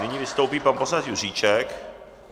Nyní vystoupí pan poslanec Juříček.